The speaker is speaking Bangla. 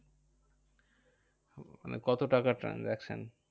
মানে কত টাকার transaction?